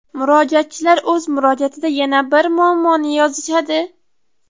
Murojaatchilar o‘z murojaatida yana bir muammoni yozishadi.